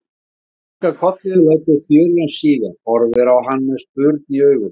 Hún kinkar kolli og lætur þjölina síga, horfir á hann með spurn í augunum.